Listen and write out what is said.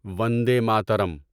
Vande Mataram